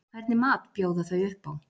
Hvernig mat bjóða þau upp á?